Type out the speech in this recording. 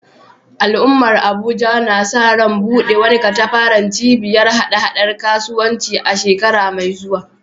Al’ummar Abuja na sa ran buɗe wani katafaren cibiyar haɗa-haɗar kasuwanci a shekara mai zuwa